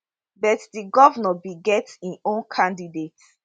but di govnor bin get im own candidate